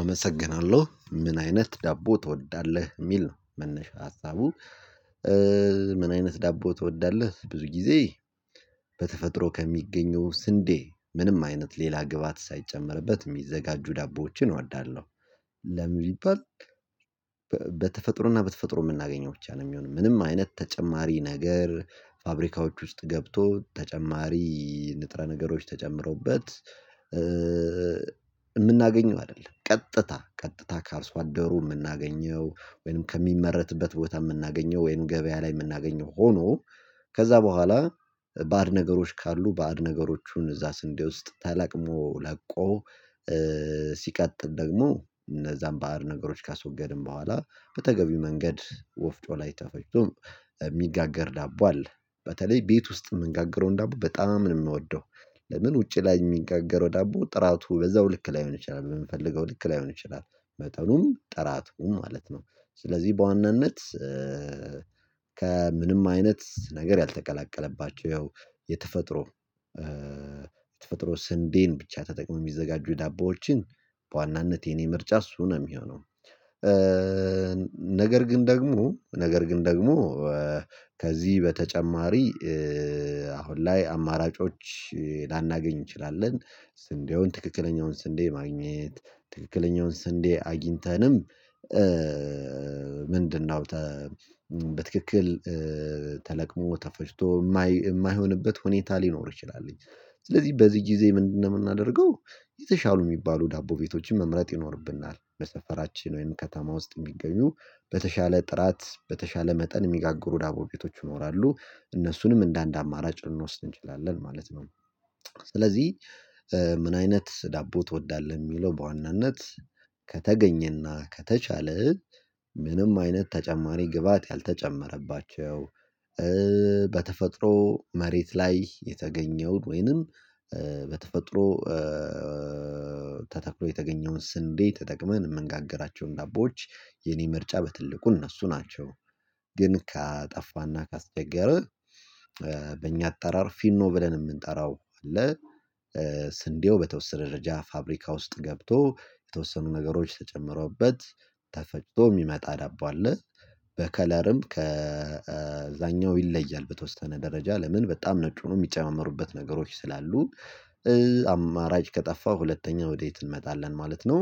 አመሰግናለሁ፤ "ምን አይነት ዳቦ ትወዳለህ?" የሚል ነው መነሻ ሀሳቡ። "ምን አይነት ዳቦ ትወዳለህ ብዙ ጊዜ?" በተፈጥሮ ከሚገኘው ስንዴ ምንም አይነት ሌላ ግብአት ሳይጨመርበት የሚዘጋጁ ዳቦዎችን እወዳለሁ። ለምን ቢባል፣ በተፈጥሮና በተፈጥሮ የምናገኘው ብቻ ነው የሚሆነው፤ ምንም አይነት ተጨማሪ ነገር ፋብሪካዎች ውስጥ ገብቶ ተጨማሪ ንጥረ ነገሮች ተጨምሮበት የምናገኘው አይደለም፤ ቀጥታ ቀጥታ ከአርሶ አደሩ የምናገኘው ወይም ከሚመረትበት ቦታ የምናገኘው፣ ወይም ገበያ ላይ የምናገኘው ሆኖ ከዚያ በኋላ ባዕድ ነገሮች ካሉ፣ ባዕድ ነገሮቹን እዚያ ስንዴ ውስጥ ተለቅሞ ለቆ ሲቀጥል ደግሞ እነዚያን ባዕድ ነገሮች ካስወገድን በኋላ፣ በተገቢው መንገድ ወፍጮ ላይ ተፈጭቶ የሚጋገር ዳቦ አለ፤ በተለይ ቤት ውስጥ የምንጋግረውን ዳቦ በጣም ነው የምወደው፤ ለምን ውጭ ላይ የሚጋገረው ዳቦ ጥራቱ በዚያው ልክ ላይሆን ይችላል፣ በምንፈልገው ልክ ላይሆን ይችላል፣ መጠኑም ጥራቱም ማለት ነው፤ ስለዚህ በዋናነት ከምንም አይነት ነገር ያልተቀላቀለባቸው፣ ያው የተፈጥሮ የተፈጥሮ ስንዴን ብቻ ተጠቅሞ የሚዘጋጁ ዳቦዎችን፣ በዋናነት የእኔ ምርጫ እሱ ነው የሚሆነው። ነገር ግን ደግሞ፣ ነገር ግን ደግሞ ከዚህ በተጨማሪ አሁን ላይ አማራጮች ላናገኝ እንችላለን፤ ስንዴውን፣ ትክክለኛውን ስንዴ ማግኘት፣ ትክክለኛውን ስንዴ አግኝተንም ምንድነው በትክክል ተለቅሞ ተፈጭቶ የማይሆንበት ሁኔታ ሊኖር ይችላል፤ ስለዚህ በዚህ ጊዜ ምንድነው የምናደርገው? የተሻሉ የሚባሉ ዳቦ ቤቶችን መምረጥ ይኖርብናል፤ በሰፈራችን ወይም ከተማ ውስጥ የሚገኙ በተሻለ ጥራት፣ በተሻለ መጠን የሚጋግሩ ዳቦ ቤቶች፣ እነሱንም እንደ አንድ አማራጭ ልንወስድ እንችላለን ማለት ነው፤ ስለዚህ "ምን አይነት ዳቦ ትወዳለህ?" የሚለው፣ በዋናነት ከተገኘና ከተቻለ ምንም አይነት ተጨማሪ ግብአት ያልተጨመረባቸው በተፈጥሮ መሬት ላይ የተገኘውን ወይም በተፈጥሮ ተተክሎ የተገኘውን ስንዴ ተጠቅመን የምንጋግራቸውን ዳቦዎች፣ የእኔ ምርጫ በትልቁ እነሱ ናቸው። ግን ካጣፋና ካስቸገረ በእኛ አጠራር ፊኖ ዳቦ የምንጠራው አለ፤ ስንዴው በተወሰነ ደረጃ ፋብሪካ ውስጥ ገብቶ፣ የተወሰኑ ነገሮች ተጨምሮበት ተፈጭቶ የሚመጣ ዳቦ አለ፤ በከለርም ከዚያኛው ይለያል በተወሰነ ደረጃ፤ ለምን በጣም ነጩን የሚጨምሩበት ነገሮች ስላሉ አማራጭ ከጠፋ ደግሞ፣ ሁለተኛ ወዴት እንመጣለን ማለት ነው?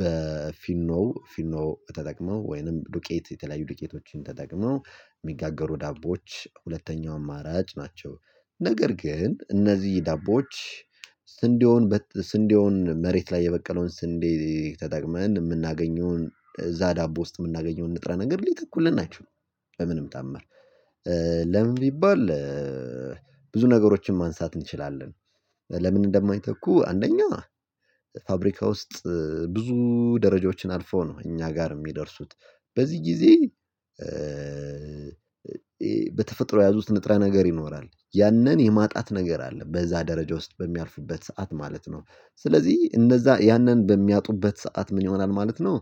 በፊኖ ፊኖ ተጠቅሞ ወይም ዱቄት፣ የተለያዩ ዱቄቶችን ተጠቅመው የሚጋገሩ ዳቦዎች ሁለተኛው አማራጭ ናቸው፤ ነገር ግን እነዚህ ዳቦዎች ስንዴውን ስንዴውን፣ መሬት ላይ የበቀለውን ስንዴ ተጠቅመን የምናገኘውን እዚያ ዳቦ ውስጥ የምናገኘውን ንጥረ ነገር ሊት እኮ ልናገኝ አንችልም በምንም ተዓምር። ለምን ቢባል፣ ብዙ ነገሮችን ማንሳት እንችላለን ለምን እንደማይተኩ፤ አንደኛ ፋብሪካ ውስጥ ብዙ ደረጃዎችን አልፈው ነው እኛ ጋር የሚደርሱት፤ በዚህ ጊዜ በተፈጥሮ የያዙት ንጥረ ነገር ይኖራል፤ ያንን የማጣት ነገር አለ በዚያ ደረጃ ውስጥ በሚያልፍበት ሰዓት ማለት ነው፤ ስለዚህ እነዚያ ያንን በሚያጡበት ሰዓት ምን ይሆናል ማለት ነው?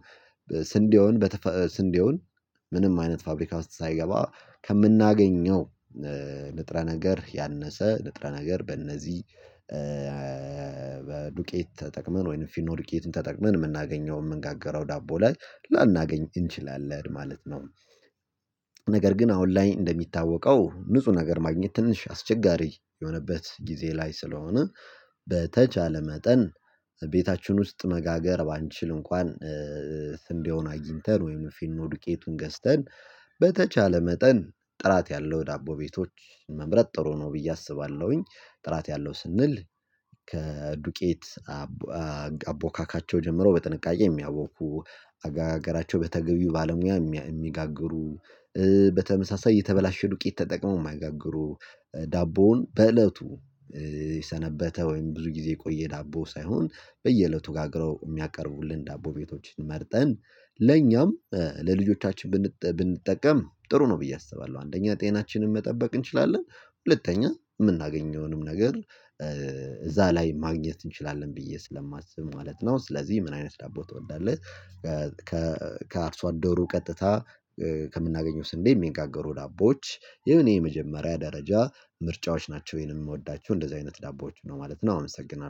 ስንዴውን በተፈ ስንዴውን ምንም አይነት ፋብሪካ ውስጥ ሳይገባ ከምናገኘው ንጥረ ነገር፣ ያነሰ ንጥረ ነገር በእነዚህ ዱቄት ተጠቅመን ወይም ፊኖ ፋብሪኬትን ተጠቅመን የምናገኘው፣ የምንጋገረው ዳቦ ላይ ላናገኝ እንችላለን ማለት ነው። ነገር ግን አሁን ላይ እንደሚታወቀው፣ ንጹህ ነገር ማግኘት ትንሽ አስቸጋሪ የሆነበት ጊዜ ላይ ስለሆነ በተቻለ መጠን ቤታችን ውስጥ መጋገር ባንችል እንኳን ስንዴውን አግኝተን ወይም ፊኖ ዱቄቱን ገዝተን በተቻለ መጠን ጥራት ያለው ዳቦ ቤቶች መምረጥ ጥሩ ነው ብዬ አስባለሁኝ፤ ጥራት ያለው ስንል ከዱቄት አቦካካቸው ጀምሮ በጥንቃቄ የሚያውቁ፣ አጋገራቸው በተገቢው ባለሙያ የሚጋግሩ በተመሳሳይ የተበላሸ ዱቄት ተጠቅመው የማያጋግሩ፣ ዳቦውን በእለቱ የሰነበተ ወይም ብዙ ጊዜ የቆየ ዳቦ ሳይሆን፣ በየእለቱ ጋግረው የሚያቀርቡልን ዳቦ ቤቶችን መርጠን ለኛም ለልጆቻችን ብንጠቀም ጥሩ ነው ብዬ አስባለሁ፤ አንደኛ ጤናችንን መጠበቅ እንችላለን፤ ሁለተኛ የምናገኘውንም ነገር እዚያ ላይ ማግኘት እንችላለን ብዬ ስለማስብ ማለት ነው፤ ስለዚህ "ምን አይነት ዳቦ ትወዳለህ?" ከአርሶ አደሩ ቀጥታ ከምናገኘው ስንዴ የሚጋገሩ ዳቦዎች፣ የእኔ የመጀመሪያ ደረጃ ምርጫዎች ናቸው፤ ይሄንን የምወዳቸው እንደዚህ አይነት ዳቦዎች ነው ማለት ነው፤ አመሰግናለሁ።